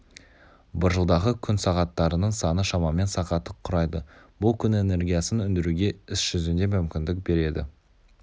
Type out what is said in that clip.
бір жылдағы күн сағаттарының саны шамамен сағатты құрайды бұл күн энергиясын өндіруге іс жүзінде мүмкіндік береді